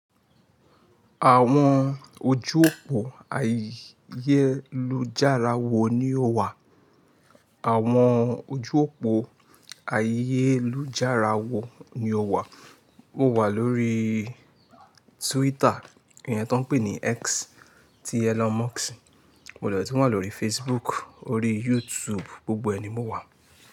Àwọn ojú òpó ayélujára wo ni ó wà? Àwọn ojú òpó ayélujára wo ni ó wà? Mo wà lórí Twitter, iyẹ́n tó ń pè ní X, ti Elon Musk. Mo lè tun wà lórí Facebook, orí YouTube, gbogbo ẹni mo wà.